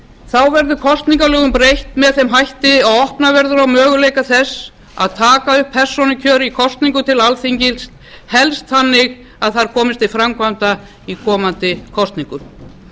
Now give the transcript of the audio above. þá verður kosningalögum breytt með þeim hætti að opnað verður á möguleika þess að taka upp persónukjör í kosningum til alþingis helst þannig að það komist til framkvæmda í komandi kosningum